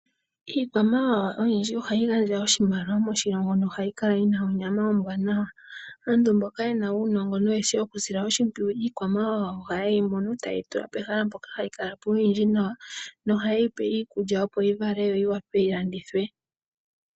Iikwamawawa oyindji oha yi gandja oshimaliwa moshilongo, noha yi kala yi na onyama ombwaanawa. Aantu mboka ye na uunongo noye shi okusila oshimpwuyu iikwamawawa oha ye yi mono, taye yi tula pehala mpoka ta yi kala po oyindji nawa, noha ye yi pe iikulya opo yi vale yo yi wape yi landithwe.